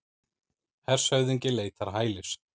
Hershöfðingi leitar hælis